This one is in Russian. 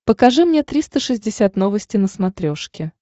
покажи мне триста шестьдесят новости на смотрешке